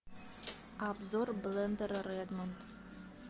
обзор блендера редмонд